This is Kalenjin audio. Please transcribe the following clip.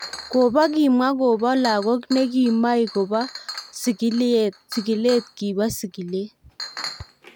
Kobo kimwa kobo lagok ne kimoi kobo kobo sigilet kibo sigilet.